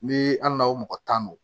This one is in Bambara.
Ni hali n'aw mɔgɔ tan don